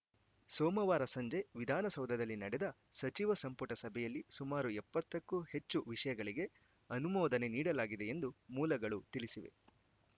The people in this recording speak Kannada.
ಸೋಮವಾರ ಸಂಜೆ ವಿಧಾನಸೌಧದಲ್ಲಿ ನಡೆದ ಸಚಿವ ಸಂಪುಟ ಸಭೆಯಲ್ಲಿ ಸುಮಾರು ಎಪ್ಪತ್ತಕ್ಕೂ ಹೆಚ್ಚು ವಿಷಯಗಳಿಗೆ ಅನುಮೋದನೆ ನೀಡಲಾಗಿದೆ ಎಂದು ಮೂಲಗಳು ತಿಳಿಸಿವೆ